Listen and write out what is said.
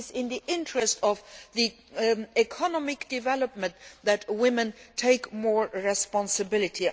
it is in the interests of economic development that women take more responsibility.